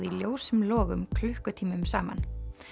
í ljósum logum klukkutímum saman